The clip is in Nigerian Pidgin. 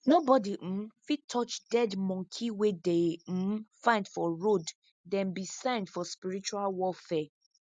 nobody um fit touch dead monkey wey dey um find for road them be signs for spiritual warfare